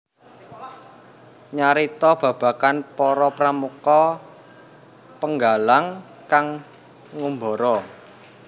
Nyarita babagan para pramuka Penggalang kang ngumbara